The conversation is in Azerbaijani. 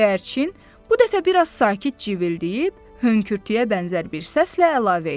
Göyərçin bu dəfə biraz sakit civildəyib hönkürtüyə bənzər bir səslə əlavə etdi.